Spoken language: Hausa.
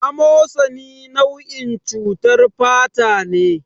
A mosani nau'in cutar fatane